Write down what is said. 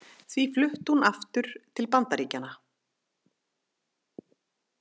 Því flutti hún aftur til Bandaríkjanna.